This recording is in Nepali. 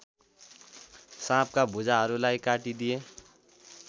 साँपका भुजाहरूलाई काटिदिए